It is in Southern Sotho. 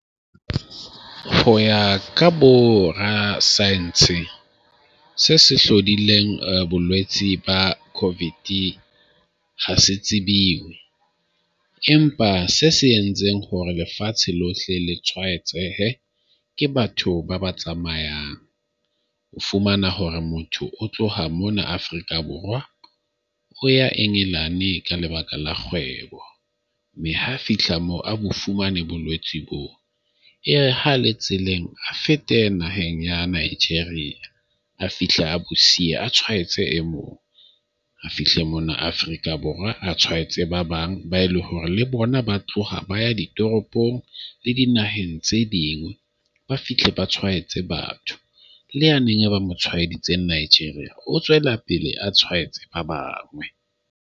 Ho ya ka borasaense se se hlodileng bolwetsi ba Covid ha se tsebile empa se se entseng hore lefatshe lohle le tshwaetsehe ke batho ba ba tsamayang. O fumana hore motho o tloha mona Afrika Borwa o ya Engelane ka lebaka la kgwebo, mme ha fihla moo a bo fumane bolwetsi boo. E re ha le tseleng, a fete naheng ya Nigeria, a fihle a bo siye. A tshwaetse e mong, a fihle mono Afrika Borwa a tshwaetse ba bang ba e le hore le bona ba tloha ba ya ditoropong le dinaheng tse ding. Ba fihle ba tshwaetse batho. Le yane e ba mo tshwaeditseng Nigeria, o tswela pele a tshwaetse ba bang.